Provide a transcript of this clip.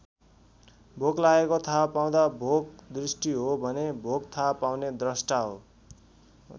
भोक लागेको थाहा पाउँदा भोक दृष्टि हो भने भोक थाहा पाउने द्रष्टा हो।